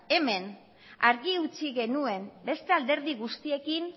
argi utzi genuen beste alderdi guztiekin